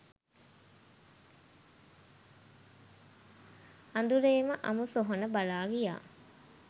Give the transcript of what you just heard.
අඳුරේම අමු සොහොන බලා ගියා